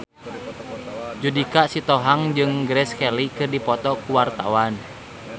Judika Sitohang jeung Grace Kelly keur dipoto ku wartawan